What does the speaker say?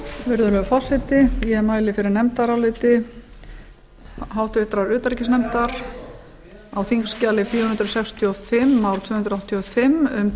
virðulegi forseti ég mæli fyrir nefndaráliti háttvirtur utanríkisnefndar á þingskj fjögur hundruð sextíu og fimm mál tvö hundruð áttatíu og fimm um